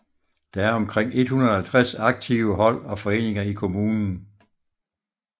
Der er omkrig 150 aktive hold og foreninger i kommunen